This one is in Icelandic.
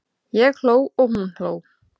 Ég hló og hún hló.